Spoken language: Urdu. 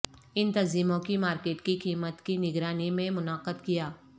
ان تنظیموں کی مارکیٹ کی قیمت کی نگرانی میں منعقد کیا